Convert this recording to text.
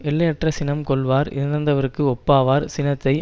எல்லையற்ற சினம் கொள்வார் இறந்தவர்க்கு ஒப்பாவார் சினத்தை